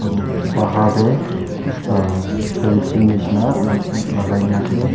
aro bahar tae s uhh fencing nishina la lagai na ase.